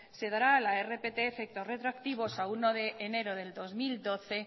se dará a la rpt efectos retroactivos a uno de enero del dos mil doce